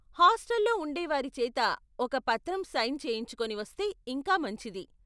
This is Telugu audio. హాస్టల్లో ఉండేవారి చేత ఒక పత్రం సైన్ చేయించుకొని వస్తే ఇంకా మంచిది.